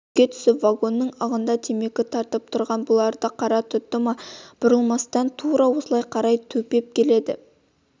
жерге түсіп вагонның ығында темекі тартып тұрған бұларды қара тұтты ма бұрылмастан тура осылай қарай төпеп келеді